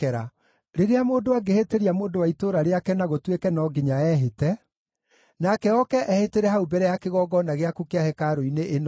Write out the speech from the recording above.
“Rĩrĩa mũndũ angĩhĩtĩria mũndũ wa itũũra rĩake na gũtuĩke no nginya ehĩte, nake oke ehĩtĩre hau mbere ya kĩgongona gĩaku kĩa hekarũ-inĩ ĩno-rĩ,